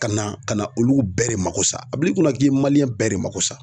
Ka na ka na olu bɛɛ de mako sa a bil'i kunna k'i ye bɛɛ de mako sa.